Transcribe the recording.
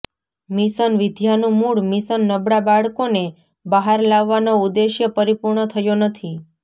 mission વિદ્યાનું મુળ mission નબળા બાળકોને બહાર લાવવાનો ઉદેસ્ય પરિપૂર્ણ થયો નથી